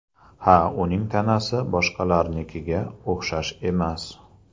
Ha, uning tanasi boshqalarnikiga o‘xshash emas.